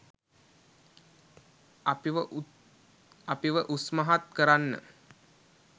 අපිව උස්මහත් කරන්න.